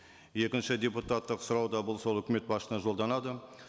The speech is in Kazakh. екінші депутаттық сұрау да бұл сол үкімет жолданады